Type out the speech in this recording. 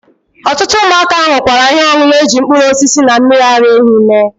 Otutu umuaka nukwara ihe onunu eji mkpuru osisi na mmiri ara ehi mee.